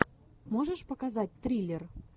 можешь показать триллер